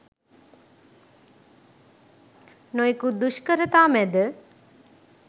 නොයෙකුත් දුෂ්කරතා මැද